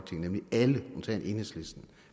nemlig alle undtagen enhedslisten